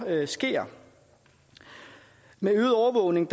sker med øget overvågning